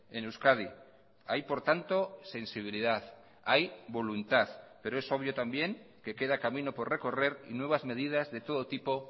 en euskadi hay por tanto sensibilidad hay voluntad pero es obvio también que queda camino por recorrer y nuevas medidas de todo tipo